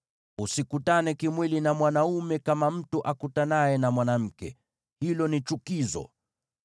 “ ‘Usikutane kimwili na mwanaume kama mtu akutanaye na mwanamke; hilo ni chukizo.